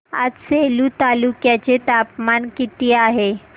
आज सेलू तालुक्या चे तापमान किती आहे